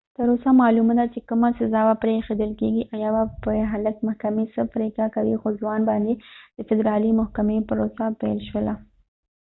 تر اوسه معلومه ده چې کومه سزا به پرې ایښودل کېږي او یا به پر هلک محکمې څه پرېکړه کوي خو ځوان باندې د فدرالي محکمې پروسه پیل شوله